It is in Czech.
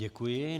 Děkuji.